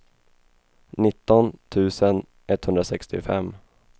nitton tusen etthundrasextiofem